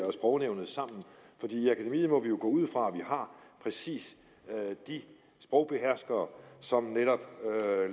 og sprognævnet sammen for i akademiet må vi jo gå ud fra at vi har præcis de sprogbeherskere som netop